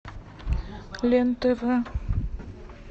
лен тв